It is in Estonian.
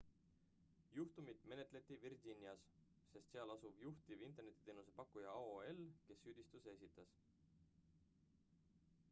juhtumit menetleti virginias sest seal asub juhtiv internetiteenuse pakkuja aol kes süüditused esitas